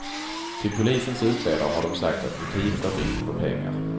Till polisens utredare har de sagt att motivet var brist på pengar.